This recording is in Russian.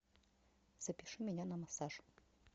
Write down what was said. запиши меня на массаж